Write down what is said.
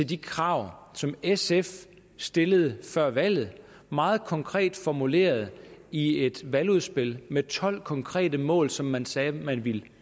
de krav som sf stillede før valget meget konkret formuleret i et valgudspil med tolv konkrete mål som man sagde man ville